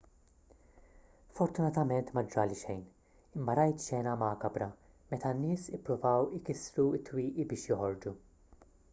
fortunatament ma ġrali xejn imma rajt xena makabra meta n-nies ippruvaw ikissru t-twieqi biex joħorġu